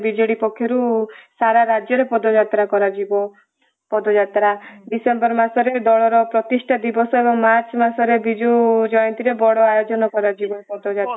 BJD ପକ୍ଷରୁ ସାରା ରାଜ୍ୟ ରେ ପଦଯାତ୍ରା କରାଯିବ ପଦଯାତ୍ରା ଡିସେମ୍ବର ମାସରେ ଦଳର ପ୍ରତିଷ୍ଠା ଦିବର୍ଷ ହବ ମାର୍ଚ ମାସରେ ବିଜୁ ଜୟନ୍ତୀରେ ବଡ ଆୟୋଜନ କରାଯିବ